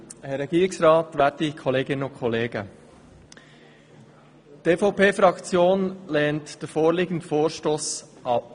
Die EVP-Fraktion lehnt den vorliegenden Vorstoss ab.